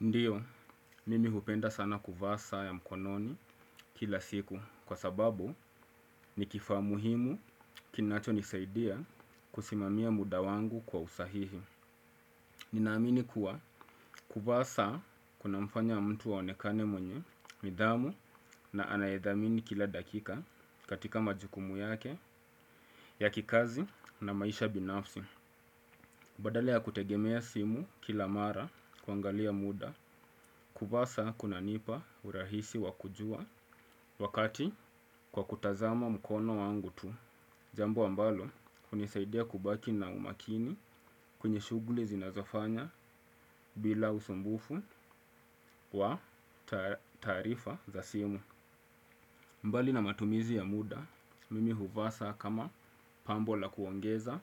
Ndiyo, mimi hupenda sana kuva sa ya mkononi kila siku kwa sababu ni kifa muhimu kinacho nisaidia kusimamia muda wangu kwa usahihi. Ninaamini kuwa, kuva sa kuna mfanya mtu aonekane mwenye, midhamu na anayethamini kila dakika katika majukumu yake ya kikazi na maisha binafsi. Badali ya kutegemea simu kila mara kwangalia muda, kuvasa kunanipa urahisi wakujua wakati kwa kutazama mkono wangu tu. Jambo ambalo unisaidia kubaki na umakini kwenye shuguli zinazofanya bila usumbufu wa tarifa za simu. Mbali na matumizi ya muda, mimi huvasa kama pambo la kuongeza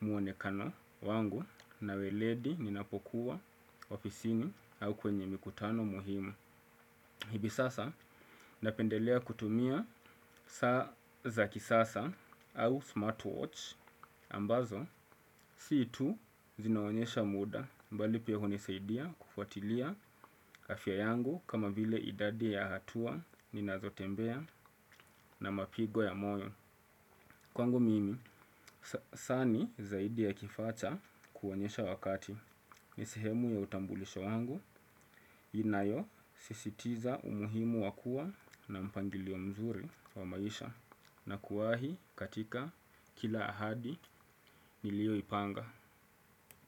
muonekano wangu na weledi ninapokuwa ofiisini au kwenye mikutano muhimu. Hivi sasa napendelea kutumia saa za kisasa au smartwatch ambazo situ zinaonyesha muda mbali pia hunisaidia kufuatilia afya yangu kama vile idadi ya hatua ninazotembea na mapigo ya moyo. Kwangu mimi, sani zaidi ya kifa cha kuwonyesha wakati, nisehemu ya utambulisho wangu, inayo sisitiza umuhimu wakua na mpangiliwo mzuri wa maisha, na kuahi katika kila ahadi nilioipanga.